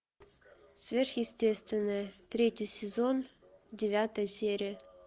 сверхъестественное третий сезон девятая серия